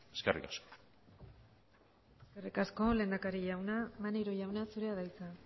eskerrik asko eskerrik asko lehendakari jauna maneiro jauna zurea da hitza